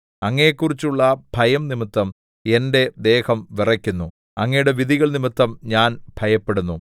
അങ്ങയെക്കുറിച്ചുള്ള ഭയം നിമിത്തം എന്റെ ദേഹം വിറയ്ക്കുന്നു അങ്ങയുടെ വിധികൾനിമിത്തം ഞാൻ ഭയപ്പെടുന്നു അയിൻ